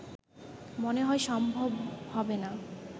মনে হয় সম্ভব হবেনা